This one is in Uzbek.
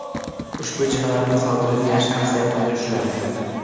Ushbu jinoyatni sodir etgan shaxs yaqinda ushlandi.